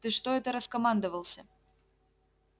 ты что это раскомандовался